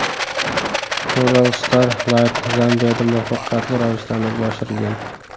RuralStar Lite Zambiyada muvaffaqiyatli ravishda amalga oshirilgan.